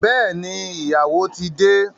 Bẹẹni, ìyàwó ti de